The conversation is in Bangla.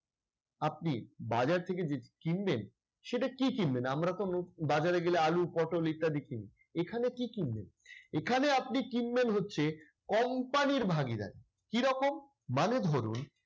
আপনি বাজার থেকে যে কিনবেন সেটা কি কিনবেন? আমরাতো বাজারে গেলে আলু, পটল ইত্যাদি কিনি। এখানে কি কিনবেন? এখানে আপনি কিনবেন হচ্ছে company র ভাগীদারি। কিরকম? মানে ধরুন